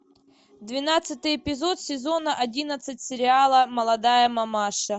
двенадцатый эпизод сезона одиннадцать сериала молодая мамаша